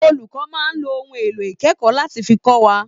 Olùkọ́ máa lo ohun èlò ìkẹ́kọ̀ọ́ láti fi kọ́ wa